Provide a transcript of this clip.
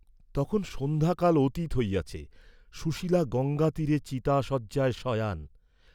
তখন সন্ধ্যাকাল অতীত হইয়াছে, সুশীলা গঙ্গাতীরে চিতাশয্যায় শয়ান।